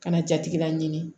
Ka na jatigila ɲini